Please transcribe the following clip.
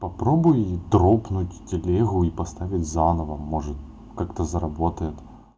попробуй дропнуть телегу и поставить заново может как-то заработает